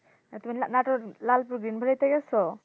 আর তুমি, বাড়িতে গেছো?